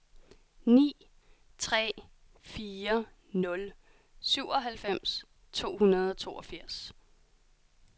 ni tre fire nul syvoghalvfems to hundrede og toogfirs